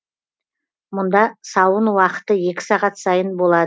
мұнда сауын уақыты екі сағат сайын